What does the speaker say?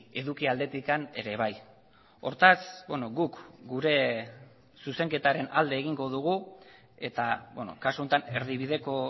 eduki aldetik ere bai hortaz guk gure zuzenketaren alde egingo dugu eta kasu honetan erdibideko